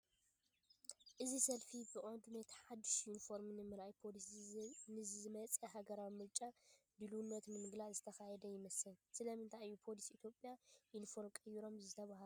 እዚ ሰልፊ ብቐንዱ ነቲ ሓድሽ ዩኒፎርም ንምርኣይን ፖሊስ ንዝመጽእ ሃገራዊ ምርጫ ድልውነቱ ንምግላጽን ዝተኻየደ ይመስል። ስለምንታይ እዩ ፖሊስ ኢትዮጵያ ዩኒፎርም ቀይሮም ዝተባህለ?